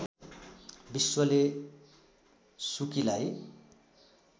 विश्वले सुकीलाई